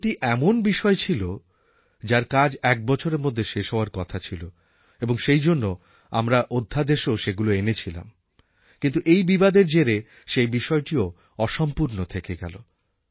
১৩টি এমন বিষয় ছিল যার কাজ এক বছরের মধ্যে শেষ হওয়ার কথা ছিল এবং সেইজন্য আমরা অধ্যাদেশেও সেগুলি এনেছিলাম কিন্তু এই বিবাদের জেরে সে বিষয়টিও অসম্পূর্ণ থেকে গেল